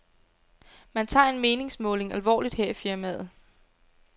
Man tager en meningsmåling alvorligt her i firmaet.